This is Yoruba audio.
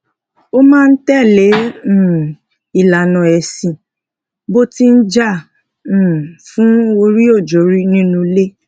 o maa n tẹle um ìlànà esin bo ti n ja um fun oriojori ninu ile